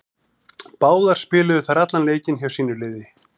Báðar spiluðu þær allan leikinn hjá sínu liði.